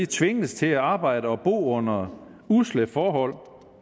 tvinges til at arbejde og bo under usle forhold